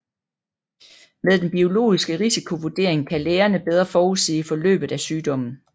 Med den biologiske risikovurdering kan lægerne bedre forudsige forløbet af sygdommen